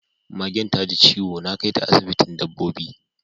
Magen taji ciwo, na kaita asibitin dabbobi